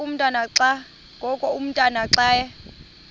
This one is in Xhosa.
ngoku umotwana xa